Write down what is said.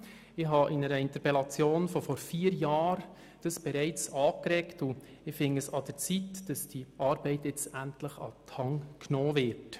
Dies habe ich bereits vor vier Jahren mit einer Interpellation angeregt, und es scheint mir an der Zeit, dass diese Arbeit jetzt endlich an die Hand genommen wird.